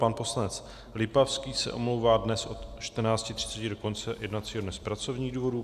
Pan poslanec Lipavský se omlouvá dnes od 14.30 do konce jednacího dne z pracovních důvodů.